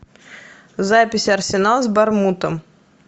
запись арсенал с борнмутом